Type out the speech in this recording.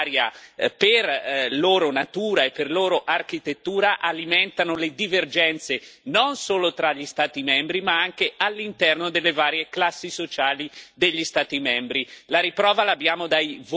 L'euro e l'Unione economica e monetaria, per loro natura e per loro architettura, alimentano le divergenze non solo tra gli Stati membri ma anche all'interno delle varie classi sociali degli Stati membri.